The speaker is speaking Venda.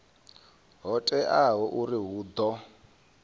ho teaho uri hu ḓo